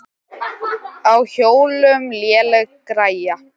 Á hjólum léleg græja.